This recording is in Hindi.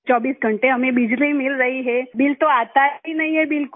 24 घंटे हमें बिजली मिल रही है बिल तो आता ही नहीं है बिलकुल